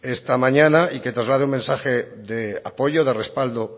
esta mañana y que traslade un mensaje de apoyo de respaldo